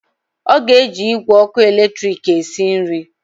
Ọ ga-eji igwe ọkụ eletrik esi nri